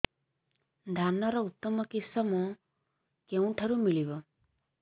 ଧାନର ଉତ୍ତମ କିଶମ କେଉଁଠାରୁ ମିଳିବ